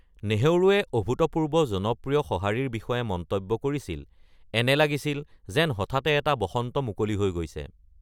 নেহৰুৱে অভূতপূৰ্ব জনপ্ৰিয় সঁহাৰিৰ বিষয়ে মন্তব্য কৰিছিল, "এনে লাগিছিল যেন হঠাতে এটা বসন্ত মুকলি হৈ গৈছে।"